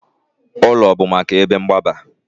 Ụlọ bụ maka ebe mgbaba